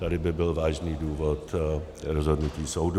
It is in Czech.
Tady by byl vážný důvod rozhodnutí soudu.